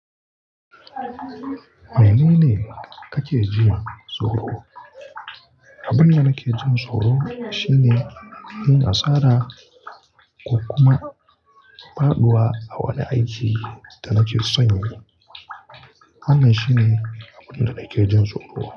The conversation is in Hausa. Menene kake jin tsoro? Abin da nake jin tsoro shine yin asara ko kuma faɗuwa a wani aiki da nake son yi. Wannan shine abun da nake jin tsoro.